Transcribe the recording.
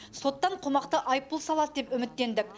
соттан қомақты айыппұл салады деп үміттендік